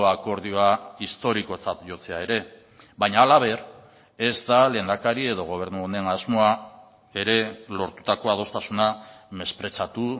akordioa historikotzat jotzea ere baina halaber ez da lehendakari edo gobernu honen asmoa ere lortutako adostasuna mespretxatu